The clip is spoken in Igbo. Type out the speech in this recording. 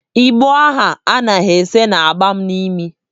Igbo ahụ ha na-ese na-aba m n'imi.